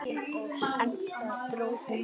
En þar dró hún mörkin.